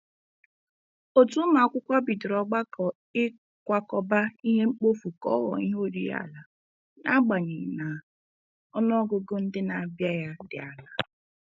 Otu ụmụakwụkwọ bidoro ọgbakọ ikwakọba ihe mkpofu ka ọ ghọọ ihe oriri ala, n'agbanyeghị na ọnụọgụgụ ndị na-abịa ya dị ala.